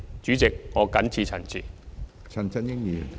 主席，我謹此陳辭。